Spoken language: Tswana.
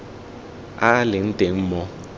a a leng teng mo